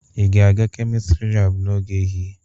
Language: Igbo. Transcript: Ị ga-aga kemịstri laabụ n'oge ehihie?